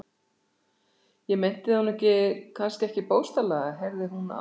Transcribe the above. Ég meinti það nú kannski ekki bókstaflega, heyrði hún að